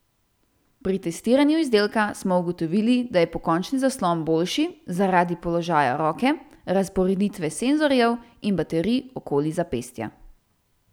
Pri testiranju izdelka smo ugotovili, da je pokončni zaslon boljši zaradi položaja roke, razporeditve senzorjev in baterij okoli zapestja.